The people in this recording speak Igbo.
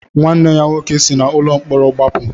Nwanne ya nwoke si n'ụlọ mkpọrọ gbapụ.